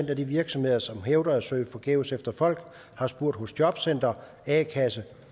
de virksomheder som hævder at søge forgæves efter folk har spurgt hos jobcenter a kasse